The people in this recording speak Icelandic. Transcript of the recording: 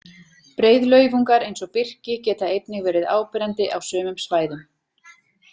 Breiðlaufungar eins og birki geta einnig verið áberandi á sumum svæðum.